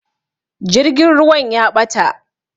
Jirgin ruwan ya ɓata